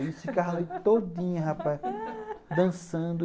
A gente ficava a noite todinha, rapaz, dançando.